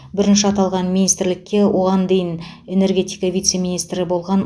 бірінші аталған министрлікке оған дейін энергетика вице министрі болған